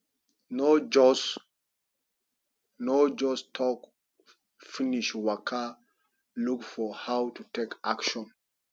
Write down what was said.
no just no just talk finish waka look for how to take action